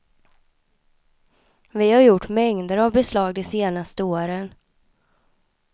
Vi har gjort mängder av beslag de senaste åren.